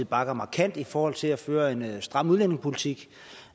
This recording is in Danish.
bakker markant i forhold til at føre en stram udlændingepolitik